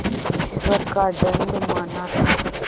ईश्वर का दंड माना था